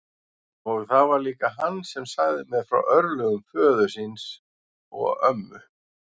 Og það var líka hann sem sagði mér frá örlögum föður þíns og ömmu.